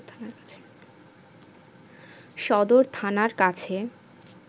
সদর থানার কাছে